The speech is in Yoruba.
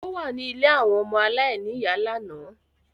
Ó wà ní ilé àwọn ọmọ aláìníìyá lánàá.